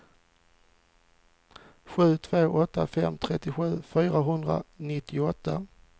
sju två åtta fem trettiosju fyrahundranittioåtta